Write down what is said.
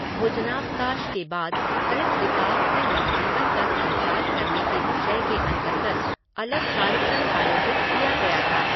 भोजनावकाश के बाद हरित विकास में नवजीवन का संचार करने के विषय के अंतर्गत अलग कार्यक्रम आयोजित किया गया था।